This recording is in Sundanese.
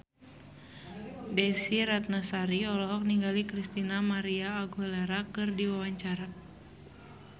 Desy Ratnasari olohok ningali Christina María Aguilera keur diwawancara